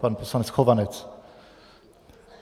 Pan poslanec Chovanec.